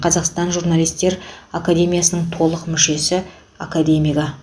қазақстан журналистер академиясының толық мүшесі академигі